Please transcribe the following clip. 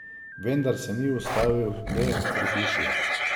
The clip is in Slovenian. Vendar se ni ustavil le pri hiši.